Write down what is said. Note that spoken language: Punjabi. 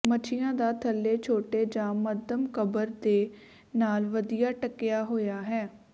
ਮੱਛੀਆਂ ਦਾ ਥੱਲੇ ਛੋਟੇ ਜਾਂ ਮੱਧਮ ਕਬਰ ਦੇ ਨਾਲ ਵਧੀਆ ਢੱਕਿਆ ਹੋਇਆ ਹੈ